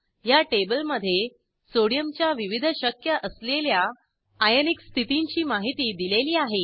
ह्या टेबलमधे सोडियमच्या विविध शक्य असलेल्या आयनिक स्थितींची माहिती दिलेली आहे